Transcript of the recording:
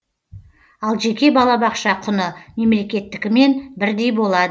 ал жеке балабақша құны мемлекеттікімен бірдей болады